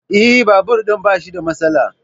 Eh, Babur ɗin bashi da matsala